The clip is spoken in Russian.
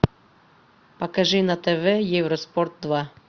покажи на тв евроспорт два